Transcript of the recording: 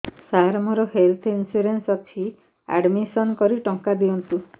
ସାର ମୋର health insurance ଅଛି admission କରି ଟଙ୍କା ଦିଅନ୍ତୁ